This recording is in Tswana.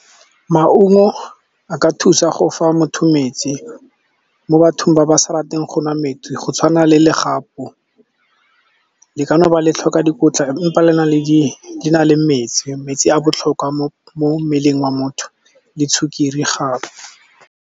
Maungo a ka thusa go fa motho metsi, mo bathong ba ba sa ratang go nwa metsi. Go tshwana le legapu, le ka noba le tlhoka dikotla, empa le na le metsi. Metsi a botlhokwa mo mmeleng wa motho, le sukiri gape.